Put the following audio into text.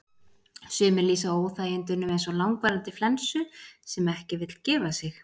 sumir lýsa óþægindunum eins og langvarandi flensu sem ekki vill gefa sig